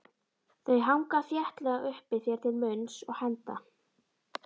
Þau hanga þéttlega uppi þér til munns og handa.